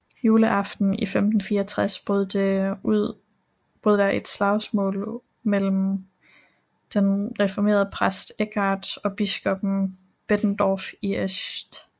Juleaften i 1564 brød der ud et slagsmål mellem den reformerede præst Eckard og biskop Bettendorf i St